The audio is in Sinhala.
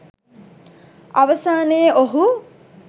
අවසානයේ ඔහු